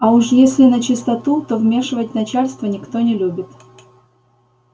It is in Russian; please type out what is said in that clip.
а уж если начистоту то вмешивать начальство никто не любит